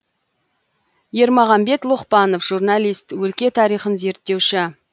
ермағамбет лұқпанов журналист өлке тарихын зерттеуші